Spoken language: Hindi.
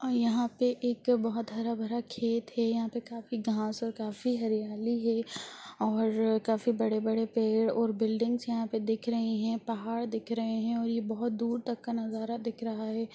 यहाँ पे एक बहोत हरा-भरा खेत है| यहाँ पे काफी घास और काफी हरियाली है और काफी बड़े-बड़े पेड़ और बिलडिंग्स यहाँ पे दिख रही है पहाड़ दिख रहे हैं और ये बहोत दूर तक का नजारा दिख रहा है।